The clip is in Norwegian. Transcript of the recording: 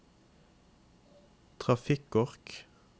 trafikkork